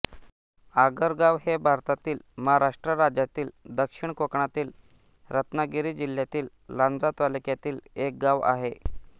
आगरगाव हे भारतातील महाराष्ट्र राज्यातील दक्षिण कोकणातील रत्नागिरी जिल्ह्यातील लांजा तालुक्यातील एक गाव आहे